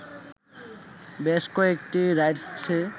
বেশ কয়েকটি রাইডসে